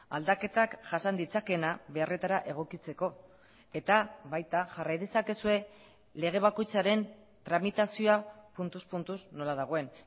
aldaketak jasan ditzakeena beharretara egokitzeko eta baita jarrai dezakezue lege bakoitzaren tramitazioa puntuz puntuz nola dagoen